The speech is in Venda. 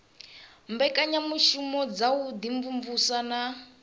mbekanyamushumo dza u imvumvusa na